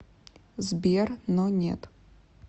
сбер но нет